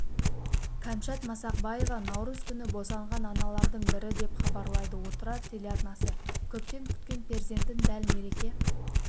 кәмшат масақбаева наурыз күні босанған аналардың бірі деп хабарлайды отырар телеарнасы көптен күткен перзентін дәл мереке